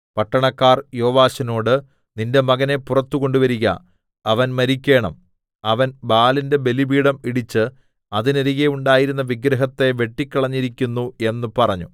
പട്ടണക്കാർ യോവാശിനോട് നിന്റെ മകനെ പുറത്തുകൊണ്ടുവരിക അവൻ മരിക്കേണം അവൻ ബാലിന്റെ ബലിപീഠം ഇടിച്ച് അതിനരികെ ഉണ്ടായിരുന്ന വിഗ്രഹത്തെ വെട്ടിക്കളഞ്ഞിരിക്കുന്നു എന്ന് പറഞ്ഞു